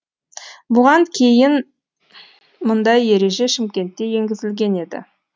бұған дейін мұндай ереже шымкентте енгізілген еді